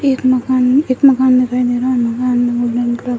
एक मकान में एक मकान दिखाई दे रहा है --